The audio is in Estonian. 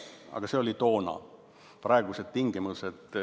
Aga see oli toona.